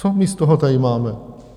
Co my z toho tady máme?